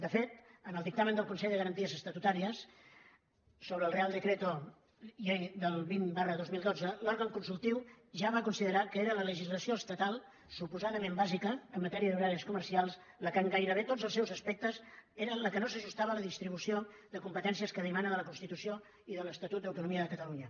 de fet en el dictamen del consell de garanties estatutàries sobre el real decreto ley vint dos mil dotze l’òrgan consultiu ja va considerar que era la legislació estatal suposadament bàsica en matèria d’horaris comercials la que en gairebé tots els seus aspectes no s’ajustava a la distribució de competències que dimana de la constitució i de l’estatut d’autonomia de catalunya